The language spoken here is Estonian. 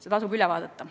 Seda tasub analüüsida.